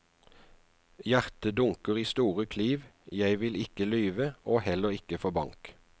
Hjertet dunker i store kliv, jeg vil ikke lyve, og heller ikke få bank.